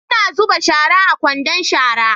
Ina zuba shara a kwandon shara